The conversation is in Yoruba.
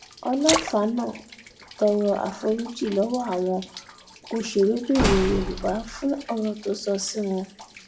olọ́fààná tọrọ àforíjì lọ́wọ́ àwọn òṣèré-bìnrin yorùbá fún ọ̀rọ̀ tó sọ sí wọn